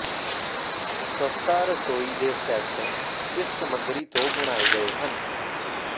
ਸਸਤਾ ਰਸੋਈ ਦੇ ਸੈੱਟ ਇਸ ਸਮੱਗਰੀ ਤੋਂ ਬਣਾਏ ਗਏ ਹਨ